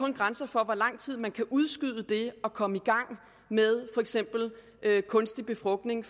en grænse for hvor lang tid man kan udskyde det at komme i gang med for eksempel kunstig befrugtning